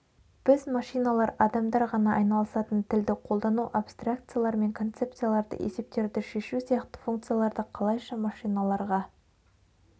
біз машиналар адамдар ғана айналысатын тілді қолдану абстракциялар мен концепцияларды есептерді шешу сияқты функцияларды қалайша машиналарға